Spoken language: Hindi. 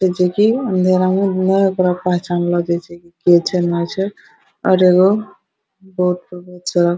छे की अँधेरा में नए ओतना पहचानलो जाए छे के छे नए छे और एगो --